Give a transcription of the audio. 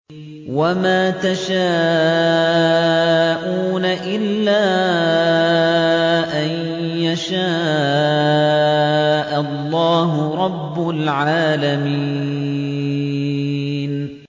وَمَا تَشَاءُونَ إِلَّا أَن يَشَاءَ اللَّهُ رَبُّ الْعَالَمِينَ